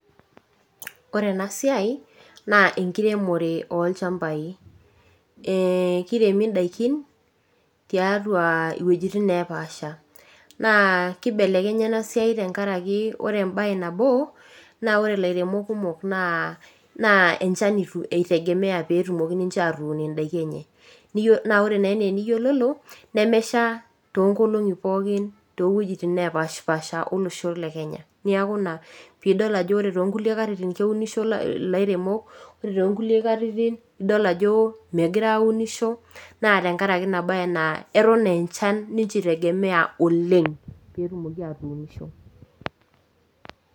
Ore ena siai naa enkiremore olchambai . Ee kiremi indaikin tiatua iwuejitin neepasha , naa kibelekenya ena siai tenkaraki ore embae nabo , naa ore ilairemok kumok naa enchan itegemea peetumoki ninche atuun indaiki enye , naa ore enaa eniyiololo nemesha toonkolongi pookin towuejitin nepashpasha olosho le kenya niaku ina pidol ore toonkulie katitin , keunisho ilairemok, ore toonkulie katitin , idol ajo megira aunisho naa tenkaraki ina bae naa eton ee enchan ninche itegemea oleng petumoki atuunisho.